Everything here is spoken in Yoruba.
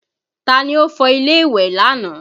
Taa ni ó fọ ilé ìwẹ̀ lánàá?